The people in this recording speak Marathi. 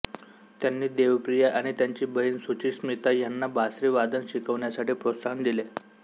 त्यांनी देवप्रिया आणि त्यांची बहीण सुचीस्मिता ह्यांना बासरी वादन शिकण्यासाठी प्रोत्साहन दिले